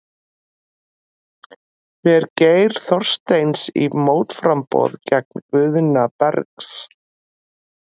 Fer Geir Þorsteins í mótframboð gegn Guðna Bergs?